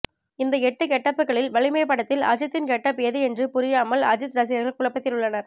இந்த எட்டு கெட்டப்புகளில் வலிமை படத்தில் அஜீத்தின் கெட்டப் ஏது என்று புரியாமல் அஜித் ரசிகர்கள் குழப்பத்தில் உள்ளனர்